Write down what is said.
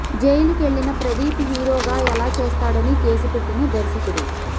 జైలుకెళ్లిన ప్రదీప్ హీరోగా ఎలా చేస్తాడని కేసు పెట్టిన దర్శకుడు